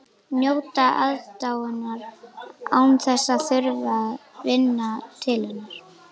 Njóta aðdáunar án þess að þurfa að vinna til hennar.